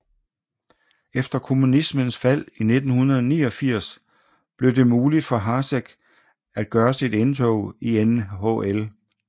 Efter kommunismens fald i 1989 blev det muligt for Hašek at gøre sit indtog i NHL